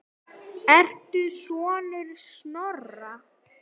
Ertu sonur Snorra?